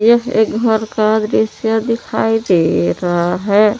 यह एक घर का दृश्य दिखाई दे रहा है।